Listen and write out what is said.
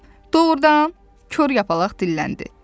Doğrudan, Kor Yapaq dilləndi.